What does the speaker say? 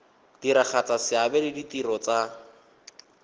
diragatsa seabe le ditiro tsa